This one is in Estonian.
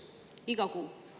Iga kuu.